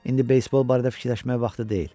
İndi beysbol barədə fikirləşməyə vaxtı deyil.